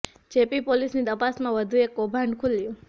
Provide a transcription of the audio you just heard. જે પી પોલીસ ની તપાસમાં વધુ એક કૌભાંડ ખુલ્યું